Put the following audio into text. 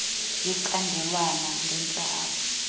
yecandelwana ngentla apha